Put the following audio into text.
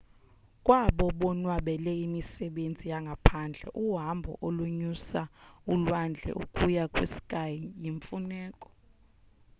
kwabo bonwabela imisebenzi yangaphandle uhambo olonyusa ulwandle ukuya kwi-sky luyimfuneko